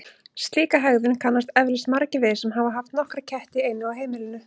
Slíka hegðun kannast eflaust margir við sem hafa haft nokkra ketti í einu á heimilinu.